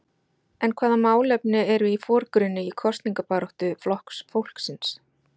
En hvaða málefni eru í forgrunni í kosningabaráttu Flokks fólksins?